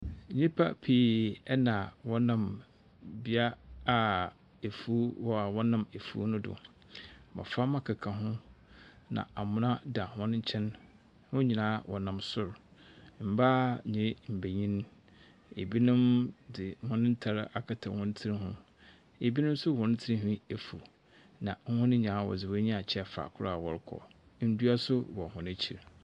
Nyimpa pii na wɔnam bea a efuw wɔ a wɔnam efuw no do. Mboframba keka ho na amona da hɔn nkyɛn. Hɔn nyina wɔnam sor, mbaa nye mbanyin, na binom dze hɔn ntar akata hɔn tsir do. Binom hɔn tsinhwi efuw, na hɔn nyina wɔdze hɔn enyiwa akyerɛ fakor a wɔrokɔ. Na ndua so wɔ hɔn ekyir.